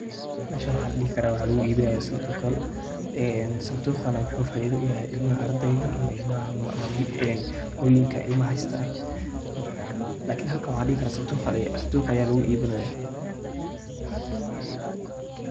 Meshan waxaan dhihi karaa waxaa lugu iibinaayaa sandukhyaal. Sandukhana waxaa faaido u yahay ilmaha ardeyga ama ilmaha, hoyooyinka ilmaha haystaan. Lakini halkan waxaa dihi karaa sandukh ayaa lugu iibinoya.